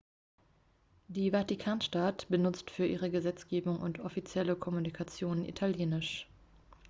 die vatikanstadt benutzt für ihre gesetzgebung und offizielle kommunikation italienisch